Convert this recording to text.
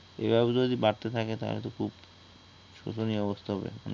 এভাবে যদি বারতে থাকলে তাইলে তো খুব শোচনীয় অবস্থা হবে